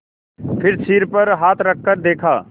फिर सिर पर हाथ रखकर देखा